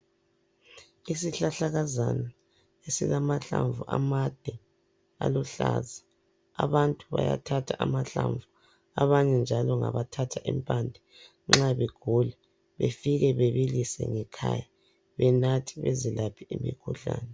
Isihlahlakazana esilamahlamvu amade aluhlaza. Abantu bayathatha amahlamvu, abanye njalo ngabathatha impande nxa begula befike bebilise ekhaya benathe bezilaphe imikhuhlane.